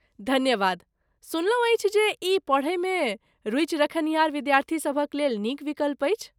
धन्यवाद, सुनलहुँ अछि जे ई पढ़यमे रूचि रखनिहार विद्यार्थी सभक लेल नीक विकल्प अछि।